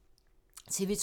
TV 2